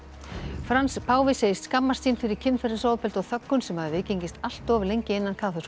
Frans páfi segist skammast sín fyrir kynferðisofbeldi og þöggun sem hafi viðgengist allt of lengi innan kaþólsku